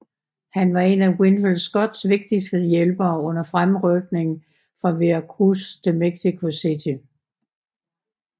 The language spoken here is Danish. Han var en af Winfield Scotts vigtigste hjælpere under fremrykningen fra Veracruz til Mexico City